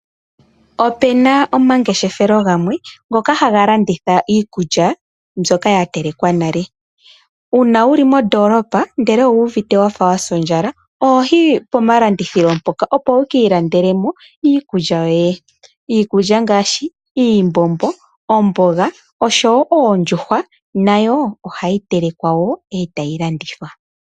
Opena omangeshefelo gamwe ngoka haga landitha iikulya mbyoka ya telekwa nale. Uuna wuli mondoolopa ndele owu uvite wafa wasa ondjala, ohoyi pomalandithilo mpoka opo wukii landelemo iikulya yoye. Iikulya ngaashi iimbombo, omboga oshowo oondjuhwa nayo ohayi telekwa woo etayi landithwa.